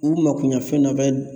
U makoɲɛfɛn dɔ bɛ